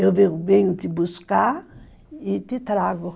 Eu venho te buscar e te trago.